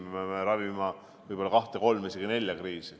Me peame ravima võib-olla kahte, kolme, isegi nelja kriisi.